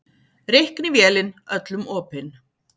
Reiknivélin öllum opin